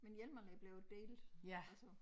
Men Hjelmalle blev det altså